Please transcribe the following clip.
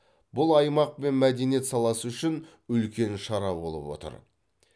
бұл аймақ пен мәдениет саласы үшін үлкен шара болып отыр